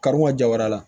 Karun ka jaba la